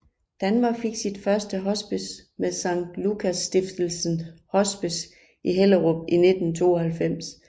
Danmark fik sit første hospice med Sankt Lukas Stiftelsens Hospice i Hellerup i 1992